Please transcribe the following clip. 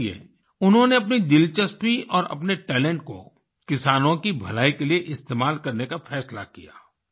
इसलिए उन्होंने अपनी दिलचस्पी और अपने टैलेंट को किसानों की भलाई के लिये इस्तेमाल करने का फैसला किया